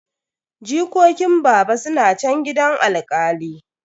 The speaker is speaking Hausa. Jikokin baba suna chan gidan alkali.